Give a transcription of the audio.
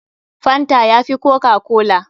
Fanta ya fi kokakola.